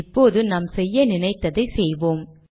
இப்போது நாம் செய்ய நினைத்ததை செய்வோம்